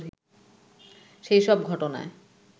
সেই সব ঘটনায়